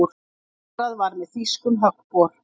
Borað var með þýskum höggbor.